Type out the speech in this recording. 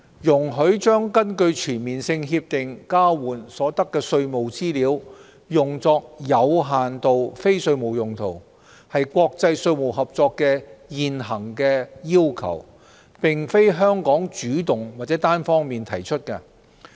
容許將根據全面性協定交換所得的稅務資料用作有限度非稅務用途，是國際稅務合作的現行要求，並非香港主動或單方面提出。